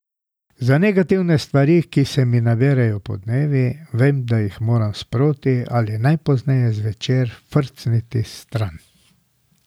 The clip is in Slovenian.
Za negativne stvari, ki se mi naberejo podnevi, vem, da jih moram sproti ali najpozneje zvečer frcniti stran.